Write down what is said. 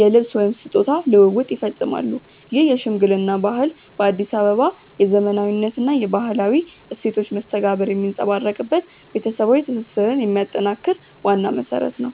የልብስ/ስጦታ ልውውጥ ይፈጸማሉ። ይህ የሽምግልና ባህል በአዲስ አበባ የዘመናዊነትና የባህላዊ እሴቶች መስተጋብር የሚንጸባረቅበት፣ ቤተሰባዊ ትስስርን የሚያጠናክር ዋና መሰረት ነው።